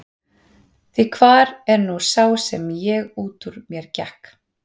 Því hvar er nú sá ég sem út úr mér gekk?